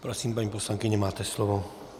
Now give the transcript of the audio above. Prosím, paní poslankyně, máte slovo.